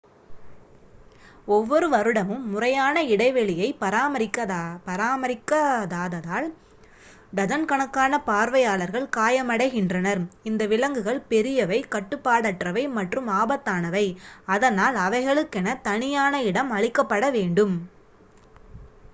ஒவ்வொரு வருடமும் முறையான இடைவெளியை பராமரிக்காததால் டஜன் கணக்கான பார்வையாளர்கள் காயமடைகின்றனர் இந்த விலங்குகள் பெரியவை கட்டுப்பாடற்றவை மற்றும் ஆபத்தானவை அதனால் அவைகளுக்கென தனியான இடம் அளிக்கப்பட வேண்டும்